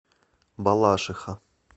балашиха